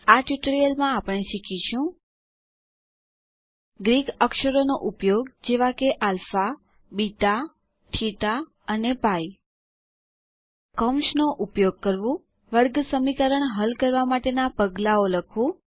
આ ટ્યુટોરીયલમાં આપણે શીખીશું ગ્રીક અક્ષરોનો ઉપયોગ જેવા કે આલ્ફા બીટા થીટા અને પાઇ કૌંસનો ઉપયોગ કરવું વર્ગસમીકરણ હલ કરવા માટેના પગલાંઓ લખવું